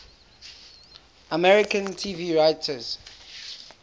american television writers